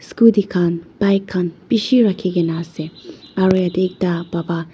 Scooty khan bike khan beshi rakhikena ase aro yateh ekta baba--